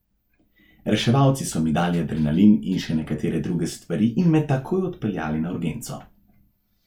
Reševalci so mi dali adrenalin in še nekatere druge stvari in me takoj odpeljali na urgenco.